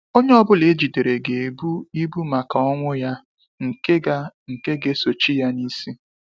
Onye ọbụla ejidere ga ebu ibu maka ọnwụ ya nke ga nke ga esochi ya n'isi